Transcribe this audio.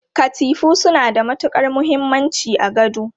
Katifu suna da matukar muhimmanci a gado.